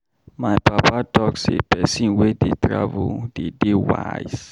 My papa talk sey pesin wey dey travel dey dey wise.